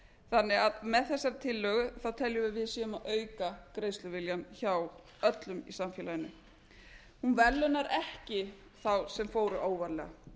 þannig að með þessari tillögu þá teljum við að við séum að auka greiðsluviljann hjá öllum í samfélaginu hún verðlaunar ekki þá sem fóru óvarlega